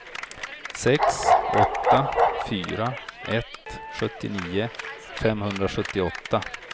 sex åtta fyra ett sjuttionio femhundrasjuttioåtta